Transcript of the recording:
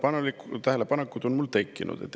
Aga mõned tähelepanekud on mul tekkinud.